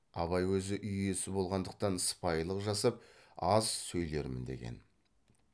абай өзі үй иесі болғандықтан сыпайылық жасап аз сөйлермін деген